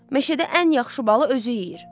Meşədə ən yaxşı balı özü yeyir.